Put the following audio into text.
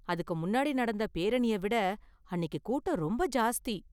அதுக்கு முன்னாடி நடந்த பேரணிய விட அன்னிக்கு கூட்டம் ரொம்ப ஜாஸ்தி.